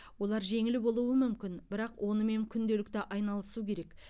олар жеңіл болуы мүмкін бірақ онымен күнделікті айналысу керек